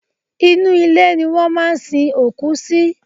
Inú ilẹ̀ ni wọ́n máa ń sin òkú sí.